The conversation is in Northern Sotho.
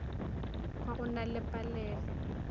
ba go na le palelo